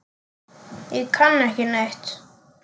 Ég kann ekki neitt.